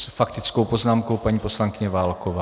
S faktickou poznámkou paní poslankyně Válková.